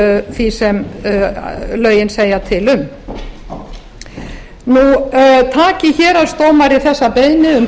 því sem lögin segja til um taki héraðsdómari þessa beiðni um